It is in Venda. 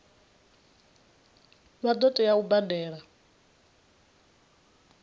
vha ḓo tea u badela